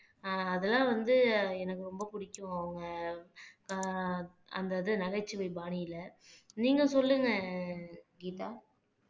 ஆஹ் அதெல்லாம் வந்து எனக்கு ரொம்ப பிடிக்கும் அவங்க ஆஹ் அந்த இது நகைச்சுவை பாணியில நீங்க சொல்லுங்க கீதா